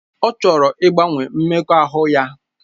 Ọ chọrọ ịgbanwe mmekọahụ ya